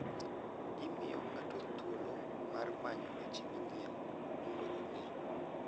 Gimiyo ng'ato thuolo mar manyo weche manyien mondo ong'e.